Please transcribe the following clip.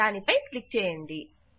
దాని పై క్లిక్ చేయండి